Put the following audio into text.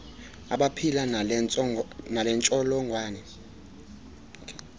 abaphila nale ntsholongwane